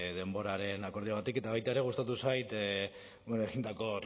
denboraren akordioagatik eta baita ere gustatu zait egindako